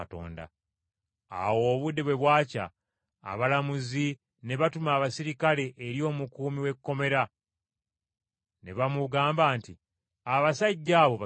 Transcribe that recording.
Awo obudde bwe bwakya, abalamuzi ne batuma abaserikale eri omukuumi w’ekkomera ne bamugamba nti, “Abasajja abo basumulule.”